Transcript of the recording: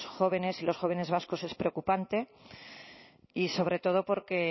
jóvenes y los jóvenes vascos es preocupante y sobre todo porque